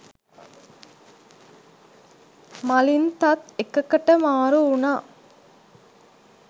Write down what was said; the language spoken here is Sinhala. මලින්තත් එකකට මාරු උනා.